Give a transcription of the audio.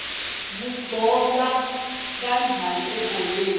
kuqhokwa kanjani ebholeni